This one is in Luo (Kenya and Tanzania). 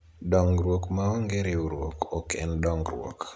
dongruok maonge riwruok ok en dongruok